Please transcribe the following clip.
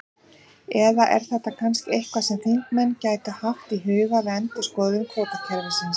Eða er þetta kannski eitthvað sem þingmenn gætu haft í huga við endurskoðun kvótakerfisins?